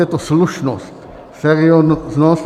Je to slušnost, serióznost.